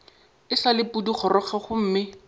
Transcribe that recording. e sa le pudigoroga gomme